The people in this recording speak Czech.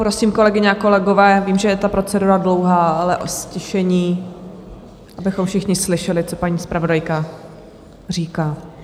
Prosím kolegyně a kolegové, vím, že je ta procedura dlouhá, ale o ztišení, abychom všichni slyšeli, co paní zpravodajka říká.